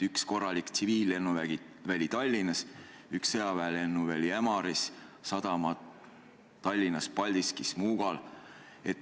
Üks korralik tsiviillennuväli on Tallinnas, üks sõjaväelennuväli Ämaris, sadamad Tallinnas, Paldiskis ja Muugal.